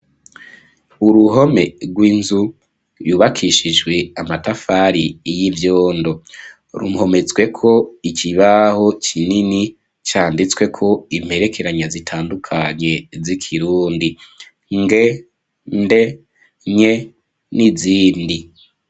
Uruhome rw'inzu yubakishijwe amatafari y'ivyondo rumpomezweko iki baho kinini canditswe ko imperekeranya zitandukanye z'ikirundi nge nde nye n'izindi.